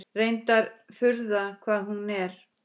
Reyndar furða hvað hún er.